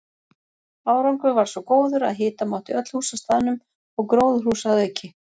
Árangur varð svo góður að hita mátti öll hús á staðnum og gróðurhús að auki.